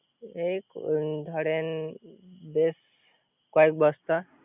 এই ধরেন বেস কয়েক বস্তা